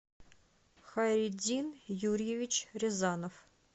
хайретдин юрьевич рязанов